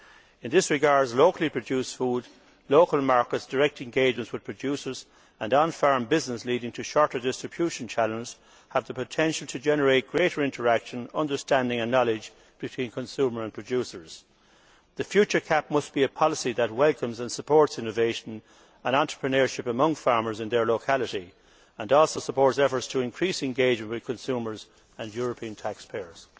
In this regard, locally produced food, local markets, direct engagements with producers and on farm business, leading to shorter distribution channels, have the potential to generate greater interaction, understanding and knowledge between consumer and producers. The future CAP must be a policy that welcomes and supports innovation and entrepreneurship among farmers in their locality and also supports efforts to increase engagement with consumers and European taxpayers.